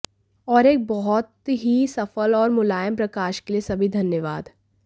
और एक बहुत ही सफल और मुलायम प्रकाश के लिए सभी धन्यवाद